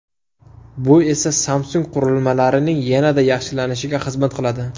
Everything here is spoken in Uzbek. Bu esa Samsung qurilmalarining yanada yaxshilanishiga xizmat qiladi.